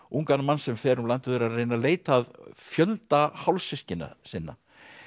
ungan mann sem fer um landið og er að reyna að leita að fjölda hálfsystkina sinna